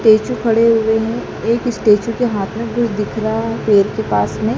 statue खड़े हुए हैं एक स्टैचू के हाथ में कुछ दिख रहा है पैर के पास में --